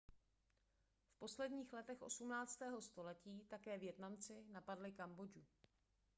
v posledních letech 18. století také vietnamci napadli kambodžu